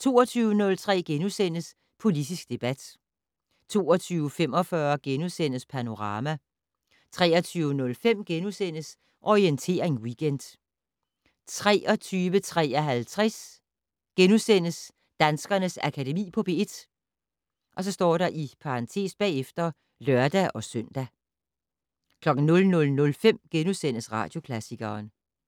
* 22:03: Politisk debat * 22:45: Panorama * 23:05: Orientering Weekend * 23:53: Danskernes Akademi på P1 *(lør-søn) 00:05: Radioklassikeren *